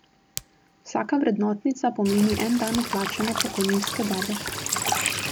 Vsaka vrednotnica pomeni en dan vplačane pokojninske dobe.